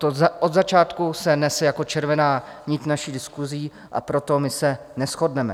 To od začátku se nese jako červená nit naší diskusí, a proto my se neshodneme.